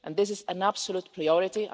This is an absolute priority.